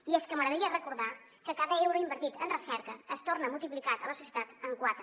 i és que m’agradaria recordar que cada euro invertit en recerca es torna multiplicat a la societat en quatre